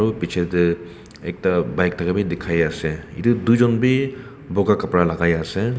piche ekta bike thaka bhi dekhai ase etu duijont bhi boga kapara logai ase.